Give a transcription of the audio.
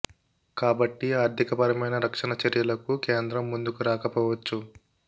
కాబట్టి ఆర్ధిక పరమైన రక్షణ చర్యలకు కేంద్రం ముందుకు రాక పోవచ్చు